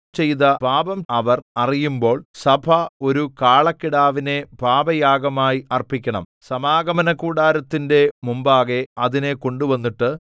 ചെയ്ത പാപം അവർ അറിയുമ്പോൾ സഭ ഒരു കാളക്കിടാവിനെ പാപയാഗമായി അർപ്പിക്കണം സമാഗമനകൂടാരത്തിന്റെ മുമ്പാകെ അതിനെ കൊണ്ടുവന്നിട്ട്